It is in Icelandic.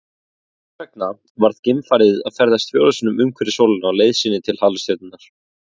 Þess vegna varð geimfarið að ferðast fjórum sinnum umhverfis sólina á leið sinni til halastjörnunnar.